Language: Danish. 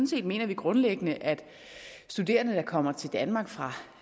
set mener vi grundlæggende at studerende der kommer til danmark fra